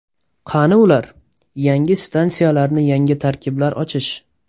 Qani ular?, Yangi stansiyalarni yangi tarkiblar ochish.